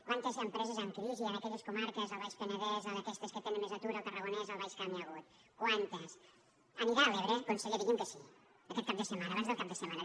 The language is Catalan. quantes empreses en crisi en aquelles comarques al baix penedès a aquestes que tenen més atur al tarragonès al baix camp hi ha hagut quantes anirà a l’ebre conseller digui’m que sí aquest cap de setmana abans del cap de setmana